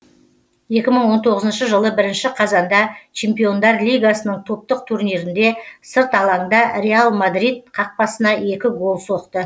екі мың он тоғызыншы жылы бірінші қазанда чемпиондар лигасының топтық турнирінде сырт алаңда реал мадрид қақпасына екі гол соқты